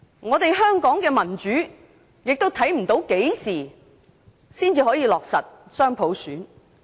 至於香港的民主發展，我們亦看不到何時才可以落實雙普選。